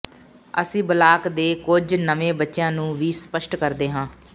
ਅਸੀਂ ਬਲਾਕ ਦੇ ਕੁਝ ਨਵੇਂ ਬੱਚਿਆਂ ਨੂੰ ਵੀ ਸਪਸ਼ਟ ਕਰਦੇ ਹਾਂ